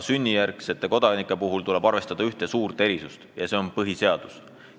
Sünnijärgsete kodanike puhul tuleb arvestada ühte tähtsat tegurit, mis on põhiseadus.